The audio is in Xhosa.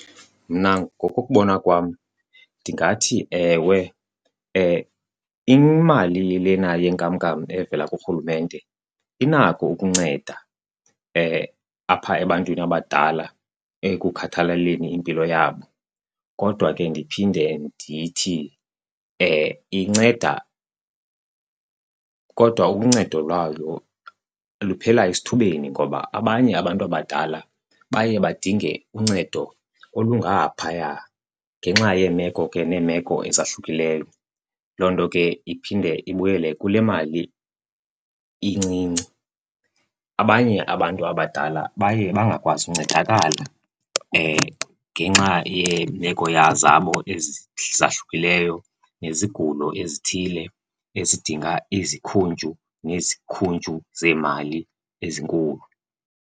Mna ngokokubona kwam ndingathi ewe, imali lena yenkamnkam evela kurhulumente inako ukunceda apha ebantwini abadala ekukhathaleleni impilo yabo. Kodwa ke ndiphinde ndithi inceda kodwa uncedo lwayo luphela esithubeni ngoba abanye abantu abadala baye badinge uncedo olungaphaya ngenxa yeemeko ke neemeko ezahlukileyo. Loo nto ke iphinde ibuyele kule mali incinci. Abanye abantu abadala baye bangakwazi uncedakala ngenxa yeemeko zabo ezahlukileyo nezigulo ezithile ezidinga izikhuntyu nezikhuntyu zeemali ezinkulu.